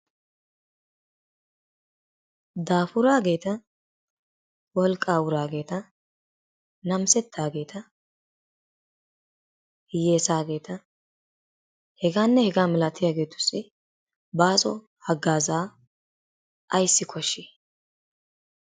Daafuraageeta, wolqaa wuraageeta, nammisetaageeta, hiyeesaageta hegaanne hegaa malatiyageetussi baaso haggaazaa ayssi koshshii?